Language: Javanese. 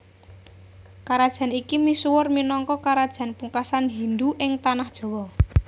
Karajan iki misuwur minangka karajan pungkasan Hindu ing Tanah Jawa